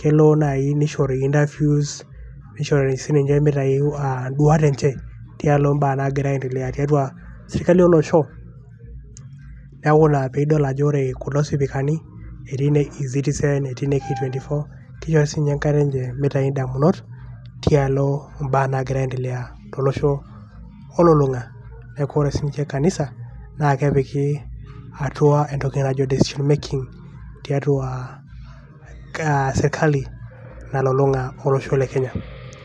.kelo nai nishori interiews nishori sininche mitayu induat enche tialo mbaa nagira aendelea tiatua sirkali olosho. niaku ina pedol ajo ore kulo sipikinani etii le citizen etii le k24 etii siinche enkata enche mitau indamunot tialo mbaa nagira aendelea tolosho olulunga .niaku ore sinche kanisa naa kepiki entoki naji decision making tiatua kaa sirkali nalulunga olosho le Kenya .